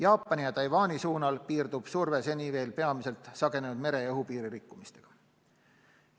Jaapani ja Taiwani suunal piirdub surve seni veel peamiselt sagenenud mere- ja õhupiiri rikkumisega.